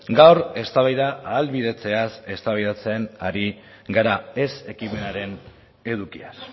gaur eztabaida ahalbidetzeaz eztabaidatzen ari gara ez ekimenaren edukiaz